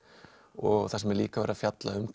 og þar sem er líka verið að fjalla um